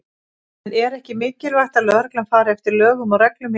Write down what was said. En er ekki mikilvægt að lögreglan fari eftir lögum og reglum í landinu?